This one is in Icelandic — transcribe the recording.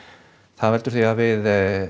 það veldur því að við